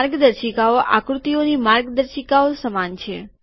માર્ગદર્શિકાઓ આકૃતિઓની માર્ગદર્શિકાઓ સમાન છે